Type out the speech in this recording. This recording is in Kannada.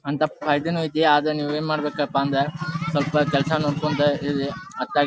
ಅಂತ ಪ್ರಯ್ದಿನು ಐತಿ. ಆದ್ರೆ ನೀವ್ ಏನ್ ಮಾಡ್ಬೇಕ್ಪಾ ಅಂದ್ರೆ ಸ್ವಲ್ಪ ಕೆಲಸ ನೋಡ್ಕೊಂಡು ಇದ್--